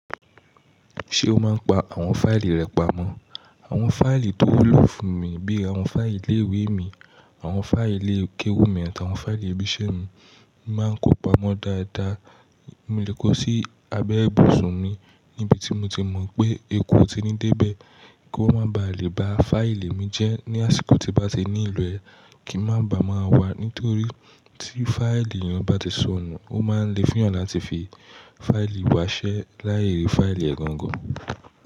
Ṣé o máa ń pa àwọn fáìlì rẹ pamọ́? Àwọn fáìlì tó wúlò fún mi bí i àwọn fáìlì ilé ìwé mi, àwọn fáìlì ilé ìkẹ́wù mi àti àwọn fáìlì ibi iṣẹ́ mi, mo máa ń kó pamọ́ dáadáa. Mo lè kó sí abẹ́ ibùsùn mi níbi tí mo ti mọ̀ pé eku ò ní dé bẹ́ẹ̀ kí ó máa ba lè ba fáìlì mi jẹ́ ní àsìkò tí n bá ti nílo ẹ, kí ń má ba à máa wà nítorí tí fáìlì eeyan bá ti sọnù, o máa ń le fun eeyàn láti fi fáìlì wa ṣẹ́ láì rí fáìlì ẹ̀ gangan.